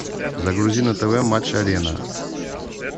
загрузи на тв матч арена